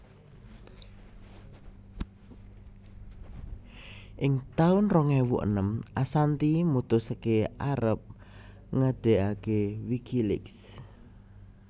Ing taun rong ewu enem Assanti mutusaké arep ngedegaké WikiLeaks